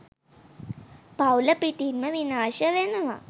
පවුල පිටින්ම විනාශ වෙනවා.